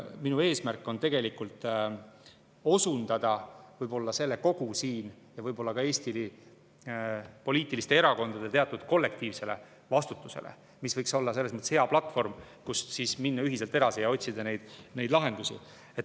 Minu eesmärk on osundada selle siinse kogu ja võib-olla ka Eesti erakondade teatud kollektiivsele vastutusele, mis võiks olla selles mõttes hea platvorm, kust minna ühiselt edasi ja otsida lahendusi.